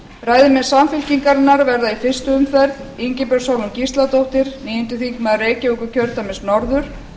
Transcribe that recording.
ræðumenn samfylkingarinnar verða í fyrstu umferð ingibjörg sólrún gísladóttir níundi þingmaður reykjavíkurkjördæmis norður